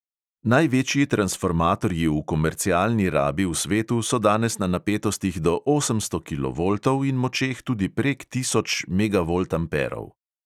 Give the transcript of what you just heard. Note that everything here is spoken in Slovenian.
Največji transformatorji v komercialni rabi v svetu so danes na napetostih do osemsto kilovoltov in močeh tudi prek tisoč megavoltamperov.